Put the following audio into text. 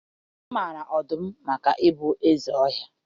Amara ọdụm maka ịbụ ndị eze ọhịa.